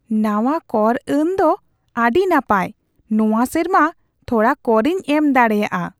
ᱱᱟᱶᱟ ᱠᱚᱨ ᱟᱹᱱ ᱫᱚ ᱟᱹᱰᱤ ᱱᱟᱯᱟᱭ ! ᱱᱚᱣᱟ ᱥᱮᱨᱢᱟ ᱛᱷᱚᱲᱟ ᱠᱚᱨᱤᱧ ᱮᱢ ᱫᱟᱲᱮᱭᱟᱜᱼᱟ !